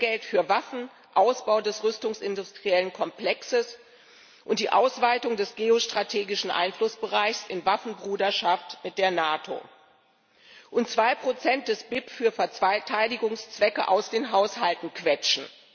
Mehr Geld für Waffen, Ausbau des rüstungsindustriellen Komplexes und die Ausweitung des geostrategischen Einflussbereichs in Waffenbruderschaft mit der NATO und 2 des BIP für Verteidigungszwecke aus den Haushalten quetschen.